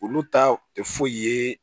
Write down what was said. Olu ta tɛ foyi ye